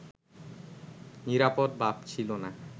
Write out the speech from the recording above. নিরাপদ ভাবছিল না